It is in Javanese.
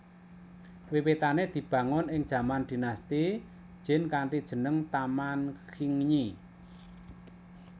Wiwitane dibangun ing jaman Dinasti Jin kanthi jeneng Taman Qingyi